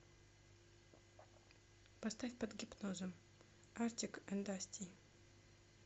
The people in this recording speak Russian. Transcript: поставь под гипнозом артик энд асти